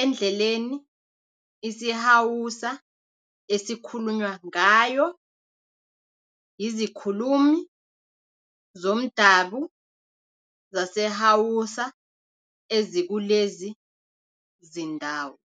endleleni isiHausa esikhulunywa ngayo yizikhulumi zomdabu zaseHausa ezikulezi zindawo.